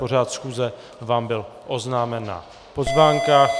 Pořad schůze vám byl oznámen na pozvánkách.